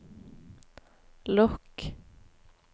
lukk